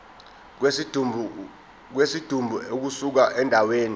kwesidumbu ukusuka endaweni